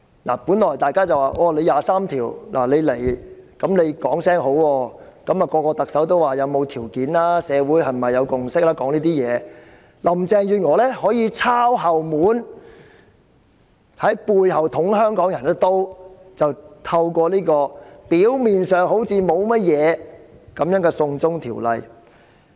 關於為第二十三條立法，各屆特首都說要有條件和社會共識，但林鄭月娥卻抄後門，在背後捅香港人一刀，透過表面上似乎沒有問題的"送中條例"去做。